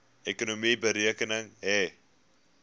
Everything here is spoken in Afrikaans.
ekonomie betrekking hê